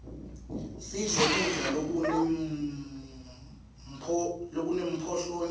sidle kudla lokune mphlonyalo